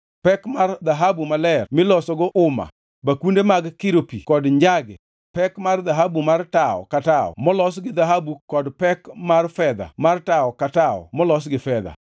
pek mar dhahabu maler milosogo uma, bakunde mag kiro pi kod njage; pek mar dhahabu mar tawo ka tawo molos gi dhahabu kod pek mar fedha mar tawo ka tawo molos gi fedha;